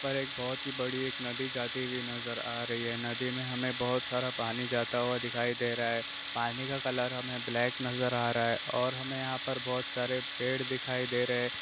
पर एक बहुत ही बड़ी एक नदी जाती हुई नज़र आ रही है। नदी में हमें बहुत सारा पानी जाता हुआ दिखाई दे रहा है। पानी का कलर हमें ब्लैक नज़र आ रहा है और हमें यहां पर बहुत सारे पेड़ दिखाई दे रहे है।